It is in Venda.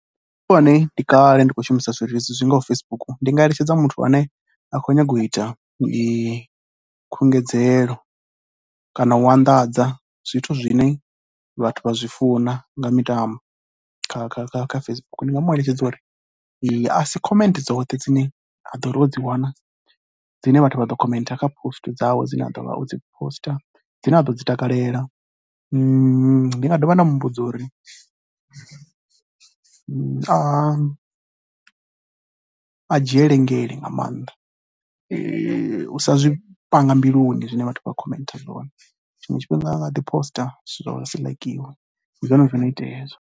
Sa muthu ane ndi kale ndi tshi khou shumisa zwileludzi zwi ngaho Facebook, ndi nga eletsheda muthu ane a khou nyanga u ita khunguwedzelo kana u anḓadza zwithu zwine vhathu vha zwi funa nga mitambo kha Facebook. Ndi nga mu eletshedza uri a si comment dzoṱhe dzine a ḓo ri o dzi wana dzine vha thu vha ḓo khomentha kha post dzawe dzine a ḓo vha o dzi posiṱa dzine a ḓo dzi takalela. Ndi nga dovha nda mu vhudza uri a a dzhiele dzhele nga maanḓa u sa zwi panga mbilu i zwine vhathu vha khomentha zwone, tshiṅe tshifhinga a nga ḓo posiṱa zwithu zwawe zwi si ḽaikiwe, ndi zwone zwo no itea hezwo